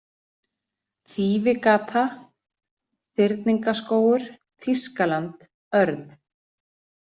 Þýfigata, Þýringaskógur, Þýskaland, örn